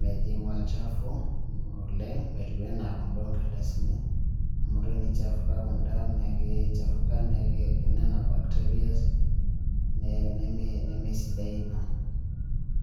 mejing' olchafu oleng' metiu anaa kunda onkardasini amu teneichafuka kunda naake eichafuka nenap bakterias nemesidai ina.